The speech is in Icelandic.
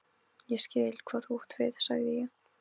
Ég skil, hvað þú átt við sagði ég.